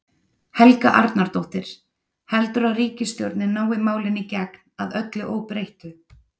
Helga Arnardóttir: Heldurðu að ríkisstjórnin nái málinu í gegn, að öllu óbreyttu?